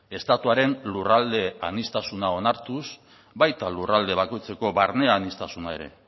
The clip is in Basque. estatuaren lurralde aniztasuna onartuz baita lurralde bakoitzeko barne aniztasuna ere